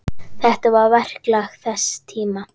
Þetta var verklag þess tíma.